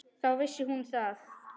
Þá vissi hún að